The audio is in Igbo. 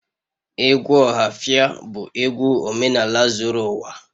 Egwu ohafia bu egwu omenaala zuru uwa